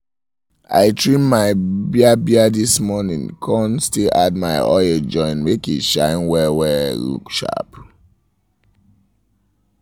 i trim my bia-bia this morning kon still add my oil join make e shine well-well look sharp